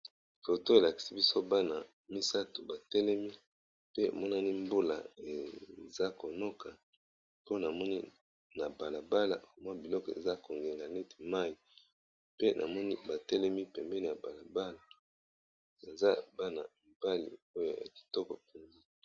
Foto elakisi biso bana misato batelemi pe monani mbula eza konoka pona namoni na balabala mwa biloko eza kongenga neti mayi pe namoni batelemi pembeni ya balabala baza bana mbali oyo ya kitoko peza.